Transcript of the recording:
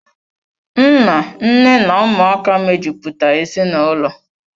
Nna, Nne na Ụmụaka mejupụta ezinaụlọ.